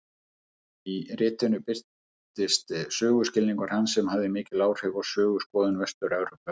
Í ritinu birtist söguskilningur hans sem hafði mikil áhrif á söguskoðun Vestur-Evrópumanna.